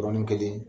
Yɔrɔnin kelen